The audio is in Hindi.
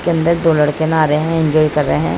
इसके अंदर दो लड़के नहा रहे है। एन्जॉय कर रहे है।